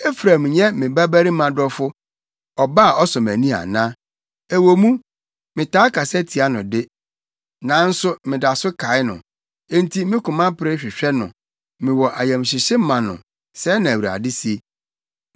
Efraim nyɛ me babarima dɔfo, ɔba a ɔsɔ mʼani ana? Ɛwɔ mu, metaa kasa tia no de, nanso meda so kae no. Enti me koma pere hwehwɛ no; mewɔ ayamhyehye ma no,” sɛɛ na Awurade se.